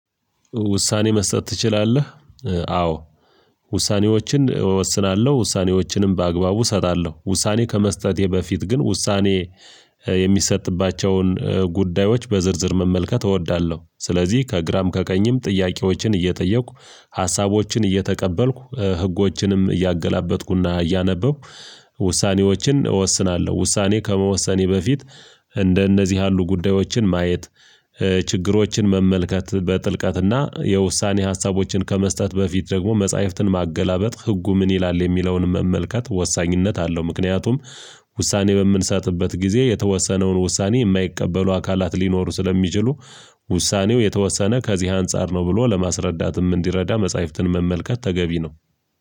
ውሳኔ መስጠት ትችላለህ? አዎ። ውሳኔዎችን እወስናለሁ ውሳኔዎችንም በአግባቡ እሰጣለሁ። ውሳኔ ከመስጠቴ በፊት ግን ውሳኔ የሚሰጥባቸውን ጉዳዮች በዝርዝር መመልከት እወዳለሁ። ስለዚህ ከግራም ከቀኝም ጥያቄዎችን እየጠየኩ ሀሳቦችን እየተቀበልኩ ህጎችንም እያገላበጥኩና እያነበብኩ ውሳኔዎችን እወስናለሁ። ውሳኔ ከመወሰኔ በፊት እንደነዚህ ያሉ ጉዳዮችን ማየት። ችግሮችን መመልከት በጥልቀትና የውሳኔ ሀሳቦችን ከመስጠት በፊት ደግሞ መጽሐፍትን ማገላበጥ ህጉ ምን ይላል የሚለውን መመልከት ወሳኝነት አለው። ምክንያቱም ውሳኔ በምንሰጥበት ጊዜ የተወሰነውን ውሳኔ የማይቀበሉ አካላት ሊኖሩ ስለሚችሉ። ውሳኔው የተወሰነ ከዚህ አንፃር ነው። ብሎ ለማስረዳትም እንዲረዳ መጽሐፍትን መመልከት ተገቢ ነው።